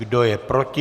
Kdo je proti?